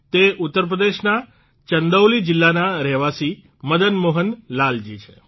તે ઉત્તરપ્રદેશના ચંદૌલી જીલ્લાના રહેવાસી મદન મોહન લાલજી છે